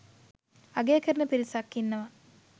අගය කරන පිරිසක් ඉන්නවා.